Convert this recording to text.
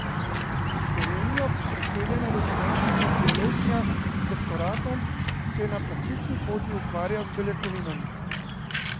V Slovenijo preseljena računalniška biologinja z doktoratom se na poklicni poti ukvarja z beljakovinami.